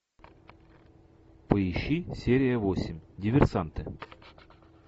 поищи серия восемь диверсанты